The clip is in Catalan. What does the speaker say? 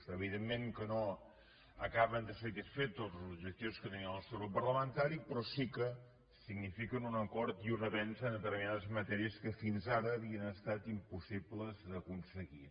evidentment que no acaben de satisfer tots els objectius que tenia el nostre grup parlamentari però sí que signifiquen un acord i un avenç en determinades matèries que fins ara havien estat impossibles d’aconseguir